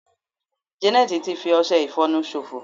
janet ti fi ọsẹ ifonu sofo